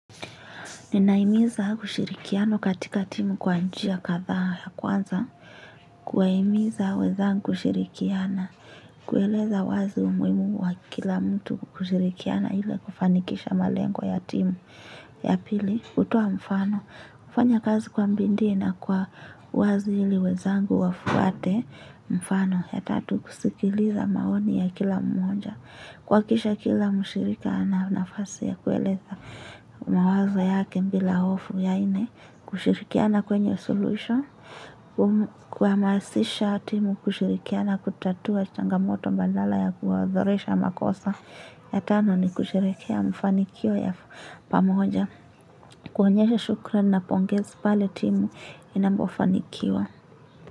Nina imiza ushirikiano katika timu kwa njia katha ya kwanza. Kuwahimiza wezangu kushirikiana. Kueleza wazi umuhimu wa kila mtu kushirikiana ili kufanikisha malengo ya timu ya pili hutoa mfano, kufanya kazi kwa bidii na kwa wazi ili wezangu wafuate. Mfano, ya tatu kusikiliza maoni ya kila mmoja. Kuhakikisha kila mshirika na nafasi ya kueleza mawazo yake bila hofu ya nne kushirikiana kwenye soluhisho, kwa masisha timu kushirikiana kutatua changamoto bandala ya kuwazoresha makosa. Yatano ni kusherekea mfanikio ya pamoja. Kuonyesha shukra na pongezi pale timu inapofanikiwa.